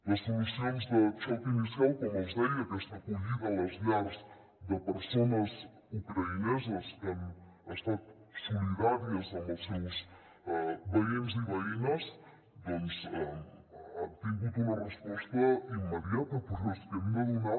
les solucions de xoc inicial com els deia aquesta acollida a les llars de persones ucraïneses que han estat solidàries amb els seus veïns i veïnes doncs han tingut una resposta immediata però és que hem de donar